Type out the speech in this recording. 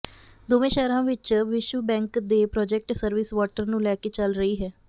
ਦੋਵੇਂ ਸ਼ਹਿਰਾਂ ਵਿਚ ਵਿਸ਼ਵ ਬੈਂਕ ਦੇ ਪ੍ਰਾਜੈਕਟ ਸਰਵਿਸ ਵਾਟਰ ਨੂੰ ਲੈਕੇ ਚੱਲ ਰਹੀ ਹੈ